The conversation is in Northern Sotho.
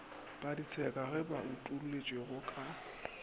paditseka ye bo utolotšwego ka